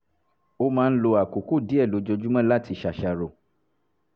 ó máa ń lo àkókò díẹ̀ lójoojúmọ́ láti ṣàṣàrò